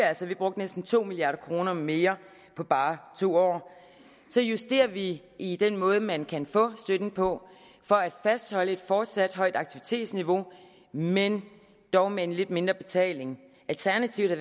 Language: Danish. altså vi brugte næsten to milliard kroner mere på bare to år så justerer vi i den måde man kan få støtten på for at fastholde et fortsat højt aktivitetsniveau men dog med en lidt mindre betaling alternativet